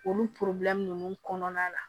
Olu nunnu kɔnɔna la